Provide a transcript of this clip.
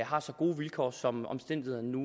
har så gode vilkår som omstændighederne nu